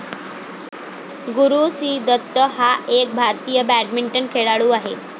गुरु C Dutt हा एक भारतीय बॅडमिंटन खेळाडू आहे